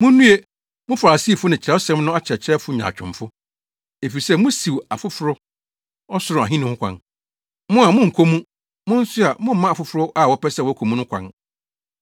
“Munnue! Mo Farisifo ne Kyerɛwsɛm no akyerɛkyerɛfo nyaatwomfo, efisɛ musiw afoforo Ɔsoro Ahenni ho kwan. Mo a, monkɔ mu. Mo nso a, momma afoforo a wɔpɛ sɛ wɔkɔ mu no kwan.